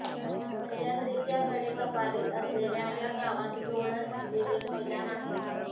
सह्याद्रीच्या कडेकपारीत असलेल्या या गावात लोळण म्हणजे एक मैदान आहे